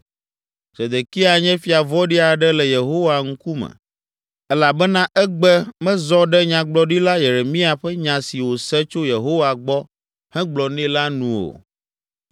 Zedekia nye fia vɔ̃ɖi aɖe le Yehowa ŋkume elabena egbe, mezɔ ɖe Nyagblɔɖila Yeremia ƒe nya si wòse tso Yehowa gbɔ hegblɔ nɛ la nu o.